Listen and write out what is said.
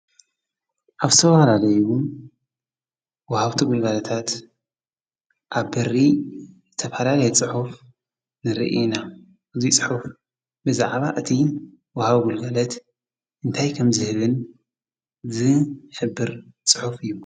ኣፍሰውናለይዉን ወሃውቲ ጐባለታት ኣብ በሪ ተፈላለየ ጽሑፍ ንርኢና እዙይ ጽሑፍ ብዛዕባ እቲ ወሃብ ጕልገለት እንታይ ከም ዝህብን ዝ ሕብር ጽሑፍ እዩ።